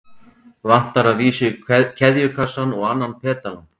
Vantar að vísu keðjukassann og annan pedalann.